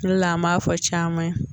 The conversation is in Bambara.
O de la an b'a fɔ caman ye